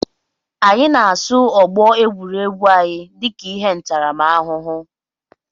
Anyị na-asụ ọgbọ egwuregwu anyị dịka ihe ntaramahụhụ